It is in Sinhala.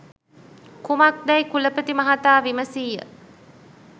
කුමක් දැයි කුලපති මහතා විමසීය.